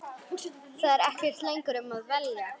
Það er ekkert lengur um að velja.